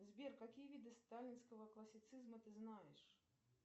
сбер какие виды сталинского классицизма ты знаешь